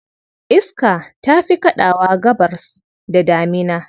Iska ta fi kaɗawa Gabasr da damina.